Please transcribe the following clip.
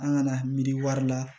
An kana miiri wari la